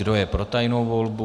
Kdo je pro tajnou volbu?